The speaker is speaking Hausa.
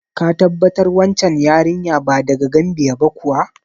Ka tabbatar wancan yarinya ba daga Gambiya ba kuwa?